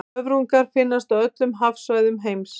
höfrungar finnast á öllum hafsvæðum heims